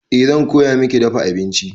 Eh zan koya miki dafa abinci.